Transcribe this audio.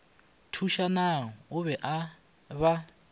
thušanang o be a ba